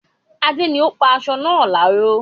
Adé ni ó pa aṣọ náà láró